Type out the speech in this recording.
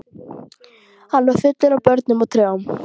Hann var fullur af börnum og trjám.